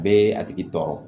Bɛ a tigi tɔɔrɔ